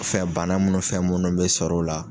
Fɛn bana minnu fɛn minnu bɛ sɔr'o la.